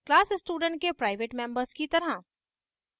class student के private members की तरह